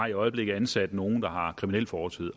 i øjeblikket ansat nogle der har en kriminel fortid